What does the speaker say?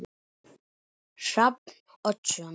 Hrafn Oddsson